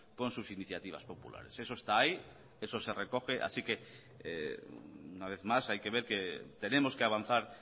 con sus iniciativas populares eso está ahí eso se recoge así que una vez más hay que ver que tenemos que avanzar